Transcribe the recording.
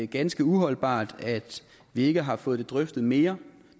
ganske uholdbart at vi ikke har fået det drøftet mere